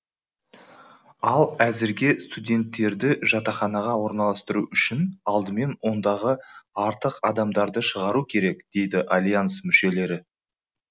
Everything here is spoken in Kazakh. ал әзірге студенттерді жатақханаға орналастыру үшін алдымен ондағы артық адамдарды шығару керек дейді альянс мүшелері